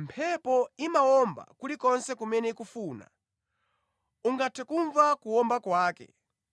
Mphepo imawomba kulikonse kumene ikufuna. Ungathe kumva kuwomba kwake,